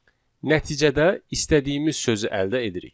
Nəticədə istədiyimiz sözü əldə edirik.